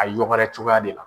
A yɔgɔrɛ cogoya de la.